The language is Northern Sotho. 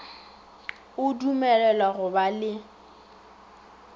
o dumelelwa go ba le